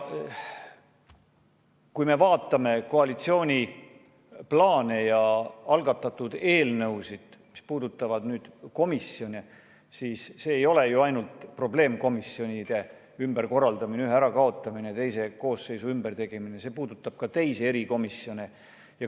Kui me vaatame koalitsiooni plaane ja algatatud eelnõusid, mis puudutavad komisjone, siis see ei ole ju ainult probleemkomisjonide ümberkorraldamine, ühe ärakaotamine või teise koosseisu ajal ümbertegemine, vaid see puudutab ka teisi erikomisjone.